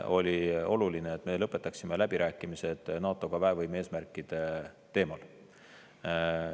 Oli oluline, et me lõpetaksime läbirääkimised NATO-ga väevõime eesmärkide teemal.